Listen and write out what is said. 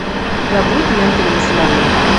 у тебя будет лента несломленный